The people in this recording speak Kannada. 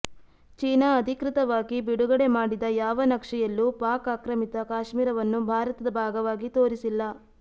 ಚೀನಾ ಅಧಿಕೃತವಾಗಿ ಬಿಡುಗಡೆ ಮಾಡಿದ ಯಾವ ನಕ್ಷೆಯಲ್ಲೂ ಪಾಕ್ ಆಕ್ರಮಿತ ಕಾಶ್ಮೀರವನ್ನು ಭಾರತದ ಭಾಗವಾಗಿ ತೋರಿಸಿಲ್ಲ